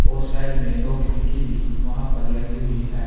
और साइड में दो खिड़की भी वहां पर लगी हुई है।